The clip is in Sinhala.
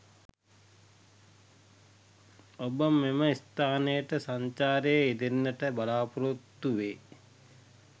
ඹබ මෙම ස්ථානයට සංචාරයේ යෙදෙන්නට බලාපොරොත්තු වේ